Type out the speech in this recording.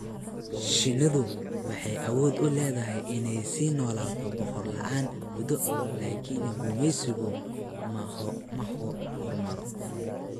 Shinnidu waxay awood u leedahay inay sii noolaato boqorad la'aan muddo, laakiin gumaysigu ma horumaro.